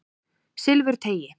Silfurteigi